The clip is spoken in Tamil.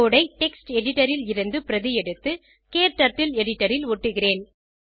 கோடு ஐ டெக்ஸ்ட் editorல் இருந்து பிரதி எடுத்து க்டர்ட்டில் எடிட்டர் ல் ஒட்டுகிறேன்